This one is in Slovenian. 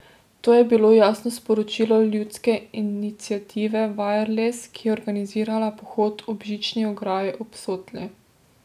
To je bilo jasno sporočilo Ljudske iniciative Vajerles, ki je organizirala pohod ob žični ograji ob Sotli.